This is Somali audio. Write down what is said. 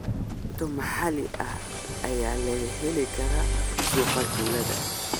Cunto maxalli ah ayaa laga heli karaa suuqa tuulada.